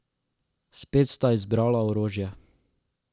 Spet sta izbrala orožje.